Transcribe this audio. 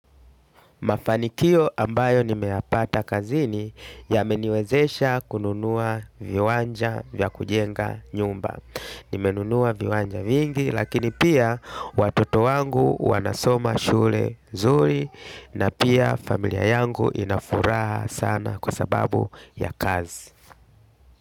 Mafanikio ambayo nimeyapata kazini, yameniwezesha kununua viwanja vya kujenga nyumba. Nimenunua viwanja vingi, lakini pia, watoto wangu wanasoma shule zuri na pia familia yangu inafuraha sana kwa sababu ya kazi.